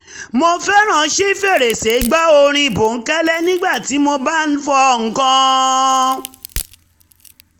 mo fẹ́ràn ṣí fèrèsé gbọ́ orin bònkẹ́lẹ́ nígbà tí mo bá ń fọ̀ nǹkan